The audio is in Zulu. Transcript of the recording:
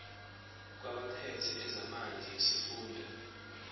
kwabaphethe ezamanzi nesifunda